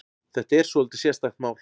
Þetta er svolítið sérstakt mál.